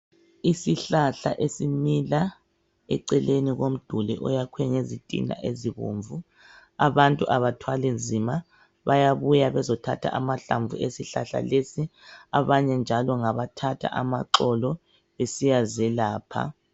Isihlahla esimila eceleni komduli oyakhwe ngezitina ezibomvu. Abantu abathwali nzima, bayabuya bezothatha amahlamvu esihlala lesi. Abanye njalo ngabathatha amaxolo besiyazelapha.